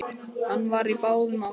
Hann var á báðum áttum.